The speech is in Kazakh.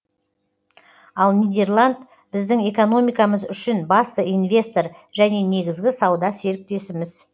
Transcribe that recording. ал нидерланд біздің экономикамыз үшін басты инвестор және негізгі сауда серіктесіміз